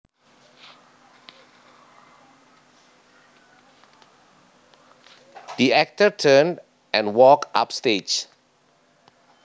The actor turned and walked upstage